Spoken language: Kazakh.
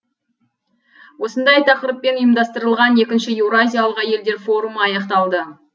осындай тақырыппен ұйымдастырылған екінші еуразиялық әйелдер форумы аяқталды